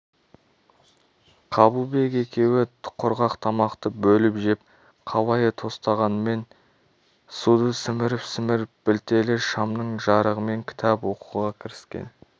қабылбек екеуі құрғақ тамақты бөліп жеп қалайы тостағанмен суық суды сіміріп-сіміріп білтелі шамның жарығымен кітап оқуға кіріскен